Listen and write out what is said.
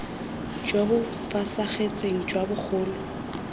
jo bo fosagetseng jwa bogolo